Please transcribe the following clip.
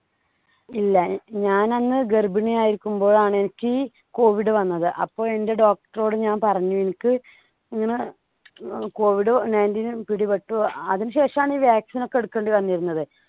ഇല്ല ഞാനന്ന് ഗർഭിണി ആയിരിക്കുമ്പോൾ ആണ് എനിക്ക് covid വന്നത്. അപ്പോൾ എന്‍ടെ doctor ഓട് ഞാൻ പറഞ്ഞു. എനിക്ക് ഇങ്ങനെ covid ninteen പിടിപെട്ടു. അതിനുശേഷമാണ് ഈ vaccine ഒക്കെ എടുക്കേണ്ടി വന്നിരുന്നത്.